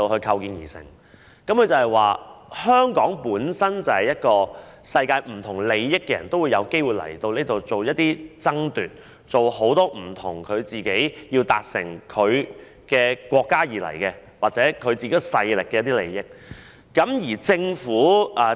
他們說香港是一個世界不同利益的人也有機會前來進行一些爭奪的地方，他們是為自己的國家或勢力的利益而來港做不同的事情。